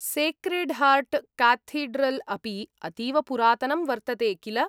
Sacred Heart Cathedral अपि अतीव पुरातनम् वर्तते, किल?